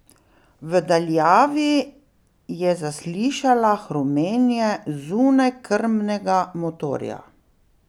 V daljavi je zaslišala hrumenje zunajkrmnega motorja.